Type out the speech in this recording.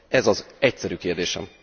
Ez az egyszerű kérdésem.